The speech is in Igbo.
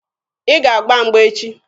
Ị ga-agba mgba echi!